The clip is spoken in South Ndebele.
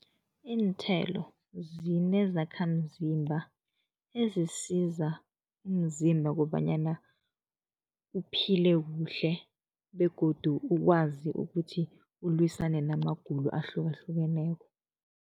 Iinthelo zinezakhamzimba ezisiza umzimba kobanyana uphile kuhle begodu ukwazi ukuthi ulwisane namagulo ahlukahlukeneko.